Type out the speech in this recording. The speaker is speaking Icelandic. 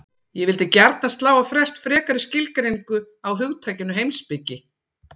Ég vildi gjarnan slá á frest frekari skilgreiningu á hugtakinu heimspeki.